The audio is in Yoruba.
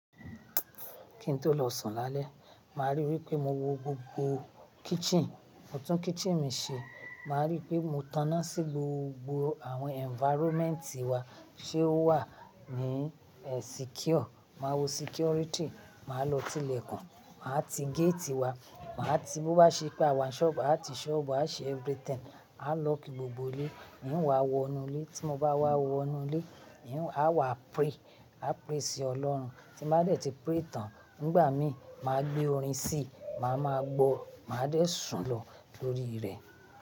Kí n tó lọ sùn lálẹ́, màá ríi wípé mo wo gbogbo kitchen, mo tún kitchen mi ṣe. Màá ríi wípé mo taná sí gbogbo àwọn environment wa, ṣe ó wà ní secure. Màá wo security, màá lọ tilẹ̀ kan, màá ti gate wa, màá ti bó bá ṣe pé àwa ń ṣọ́ọ̀bù, àá ti ṣọ́ọ̀bù, a ṣe everything. A lock gbogbo ilé, mí n wa wọnú ilé, tí mo bá wà wọnú ilé, a wà pray, a pray sí Ọlọ́run. Tí mo bá dẹ̀ ti pray tán, nígbà mí, màá gbé orin sí, màá máa gbọ́, màá dẹ̀ sùn lọ lórí rẹ̀.